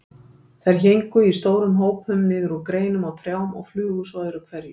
Þær héngu í stórum hópum niður úr greinum á trjám og flugu svo öðru hverju.